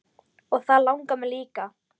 Og það langar mig líka.